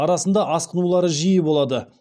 арасында асқынулары жиі болады